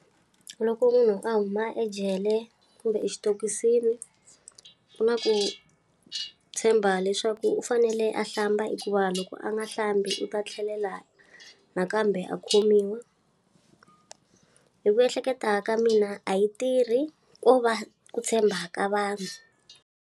Loko munhu a huma ejele kumbe exitokisini, ku na ku tshemba leswaku u fanele a hlamba hikuva loko a nga hlambi u ta tlhelela nakambe a khomiwa. Hi ku ehleketa ka mina a yi tirhi ko va ku tshemba ka vanhu.